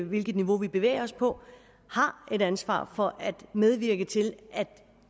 hvilket niveau vi bevæger os på har et ansvar for at medvirke til at